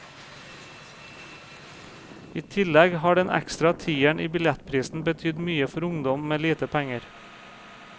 I tillegg har den ekstra tieren i billettprisen betydd mye for ungdom med lite penger.